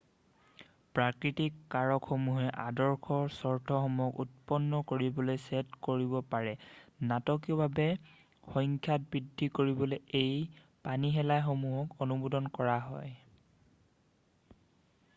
প্ৰাকৃতিক কাৰকসমূহে আদৰ্শ চৰ্তসমূক্ষক উৎপন্ন কৰিবলৈ ছেদ কৰিব পাৰে নাটকীয়ভাৱে সংখ্যাত বৃদ্ধি কৰিবলৈ এই পানীশেলাইসমূহক অনুমোদন কৰা হয়৷